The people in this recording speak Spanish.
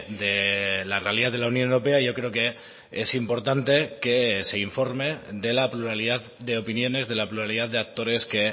de la realidad de la unión europea yo creo que es importante que se informe de la pluralidad de opiniones de la pluralidad de actores que